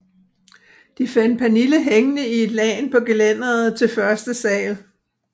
De fandt Pernille hængende i et lagen på gelænderet til første sal